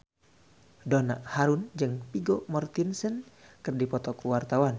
Donna Harun jeung Vigo Mortensen keur dipoto ku wartawan